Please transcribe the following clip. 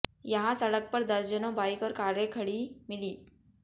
यहां सड़क पर दर्जनों बाइक और कारें खड़ी मिलीं